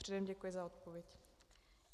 Předem děkuji za odpověď.